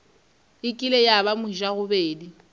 e kile ya ba mojagobedi